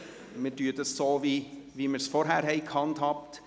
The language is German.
Wir gehen so vor, wie wir es vorhin gehandhabt haben.